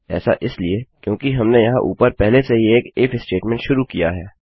ऐसा इसलिए क्योंकि हमने यहाँ ऊपर पहले से ही एक इफ statementस्टेटमेंटशुरू किया है